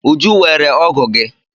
Uju weere ọ́gụ̀ gi.